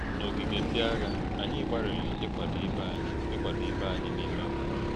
N’ogige ndị agha, anyị gbalịrị ịkwado ibe anyị ịkwado ibe anyị n’ime mmụọ.